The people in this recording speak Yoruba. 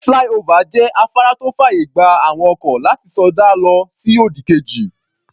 Flyover jẹ́ afárá tó fàyè gba àwọn ọkọ̀ láti sọdá lọ sí òdì kejì.